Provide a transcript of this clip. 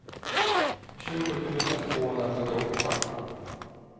tjugo tusen tvåhundrasjuttioåtta